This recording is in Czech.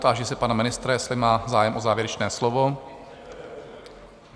Táži se pana ministra, jestli má zájem o závěrečné slovo?